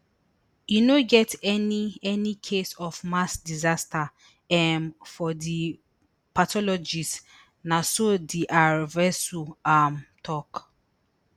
e no get any any case of mass disaster um for di pathologist na so dr vasu um tok